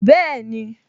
Bẹ́ẹ̀ni